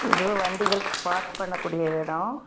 இது வண்டிகள் பார்க் பண்ணக்கூடிய இடம்.